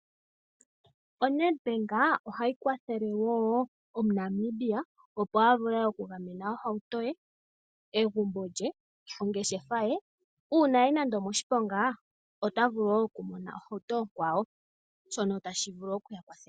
O Nedbank ohalikwathele wo omuNamibia opo avule okungamena ohauto ye, egumbo lye, oongeshefa ye una aya nande omoshiponga otavulu wo okumona ohauto okwawo shono tashivulu okuyakwathela.